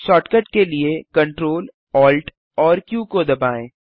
shortcut के लिए Ctrl Alt AMP Q को दबाएँ